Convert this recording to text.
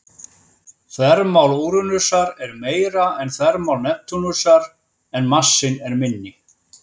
Þvermál Úranusar er meira en þvermál Neptúnusar, en massinn er minni.